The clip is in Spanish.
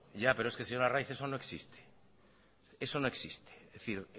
ya pero es que señor arraiz eso no existe eso no existe es decir